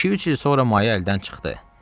İki-üç il sonra maya əldən çıxdı.